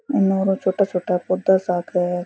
एनोरो छोटा छोटा पौधा सा क है।